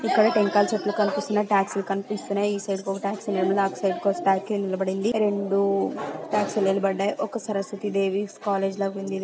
ఇక్కడ టెంకాయల చెట్లు కనిపిస్తున్నాయి టాక్సి లు కనిపిస్తున్నాయి. ఈ సైడ్ ఒక టాక్సీ ఉంది ఆ సైడ్ కి ఒక టాక్సీ నిలబడింది రెండు టాక్సీ లు నిలబడ్డాయి. ఒక సరస్వతి దేవి కాలేజీ లగ ఉంది ఇది.